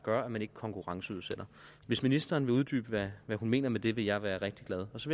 gør at man ikke konkurrenceudsætter hvis ministeren vil uddybe hvad hun mener med det vil jeg være rigtig glad så